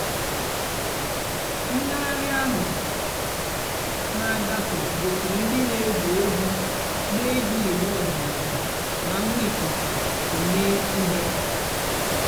ǹgàghàrị́ àhú́ nà-àgàfé gosìrí ndị́ nà-ègwú ègwú nà-èjí ị̀gbà ọ̀dị́náàlà nà ǹgwá íkúkú èmée íhé.